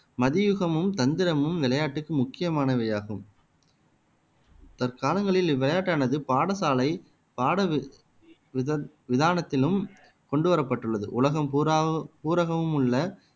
மதியுகமும் தந்திரமும் விளையாட்டுக்கு முக்கியமானவையாகும் தற்காலங்களில் இவ்விளையாட்டானது பாடசாலை பாடவி விதத் விதானத்திலும் கொண்டு வரப்பட்டுள்ளது உலகம் உள்ள